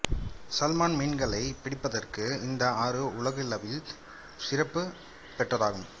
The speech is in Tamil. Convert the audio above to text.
சல்மான் மீன்களை பிடிப்பதற்கு இந்த ஆறு உலகளவில் சிறப்பு பெற்றதாகும்